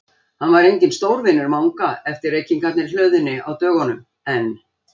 Hann var enginn stórvinur Manga eftir reykingarnar í hlöðunni á dögunum, en